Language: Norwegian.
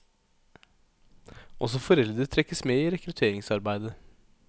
Også foreldre trekkes med i rekrutteringsarbeidet.